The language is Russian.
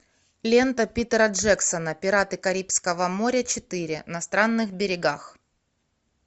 лента питера джексона пираты карибского моря четыре на странных берегах